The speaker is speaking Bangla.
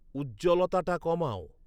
উজ্জ্বলতাটা কমাও